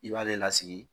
I b'ale lasigi